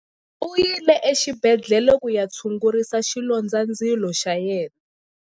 U yile exibedhlele ku ya tshungurisa xilondzandzilo xa yena.